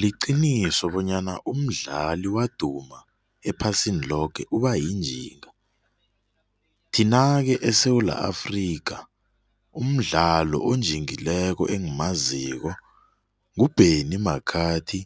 Liqinisa bonyana umdlali waduma ephasini loke ubayinjinga. Thina-ke eSewula Afrika, umdlalo onjingileko engimaziko, ngu-Benni McCarthy